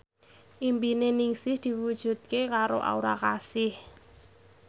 impine Ningsih diwujudke karo Aura Kasih